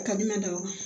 A ka di ne ma dɔɔni